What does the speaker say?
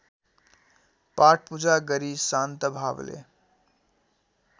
पाठपूजा गरी शान्तभावले